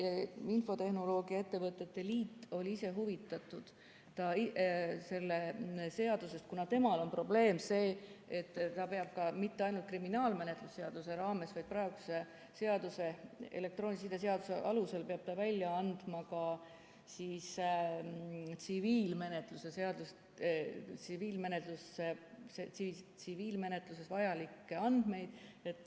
Eesti Infotehnoloogia ja Telekommunikatsiooni Liit on ise ka huvitatud sellest seadusest, kuna nende probleem on see, et nad peavad mitte ainult kriminaalmenetluse seadustiku raames, vaid praeguse elektroonilise side seaduse alusel välja andma ka tsiviilmenetluses vajalikke andmeid.